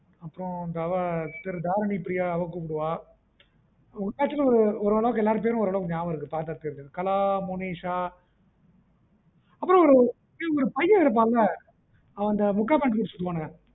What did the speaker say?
அப்பறம் அவ தாரிணி ப்ரியாஅவ கூப்புடுவா ஓரளவுக்கு எல்லாரு பெரும் ஞாபகம் இருக்கு பாத்தா தெரியும் கலா மோனிஷா அப்பறம் ஒரு பையன் இருப்பான்ல அவன் அந்த முக்கா pant தச்சி இருப்பான்ல